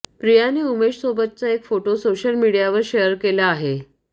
प्रियाने उमेशसोबतचा एक photo social मीडियावर शेअर केला आहे